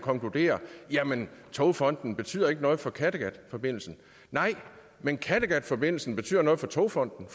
konkluderer jamen togfonden dk betyder ikke noget for kattegatforbindelsen nej men kattegatforbindelsen betyder noget for togfonden